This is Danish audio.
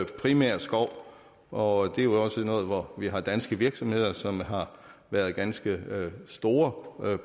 primært skov og det er jo også noget hvor vi har danske virksomheder som har været ganske store